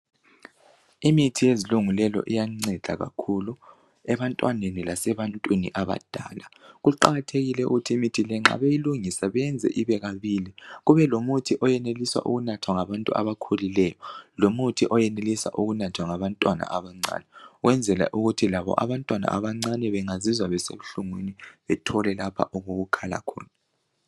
Imithi yezilungulelo iyanceda kakhulu ebantwaneni lasebantwini abadala kuqakathekile ukuthi imithi le nxa beyilungisa beyenze ibe kabili kubelomuthi oyenelisa ukunathwa ngabantu abakhulileyo lomuthi oyenelisa ukunathwa ngabantwana abancane ukwenzela ukuthi labo abantwana abancane bengazizwa besebuhlungwini bethole lapho okokukhala khona.